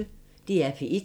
DR P1